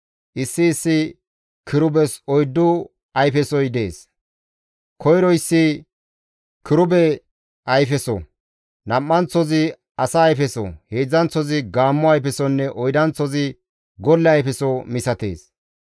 Issi issi kirubes oyddu ayfesoy dees. Koyroyssi kirube ayfeso, nam7anththozi asa ayfeso, heedzdzanththozi gaammo ayfesonne oydanththozi golle ayfeso misatees.